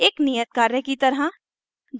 एक नियत कार्य की तरह